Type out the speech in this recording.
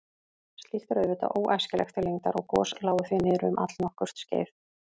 Slíkt er auðvitað óæskilegt til lengdar og gos lágu því niðri um allnokkurt skeið.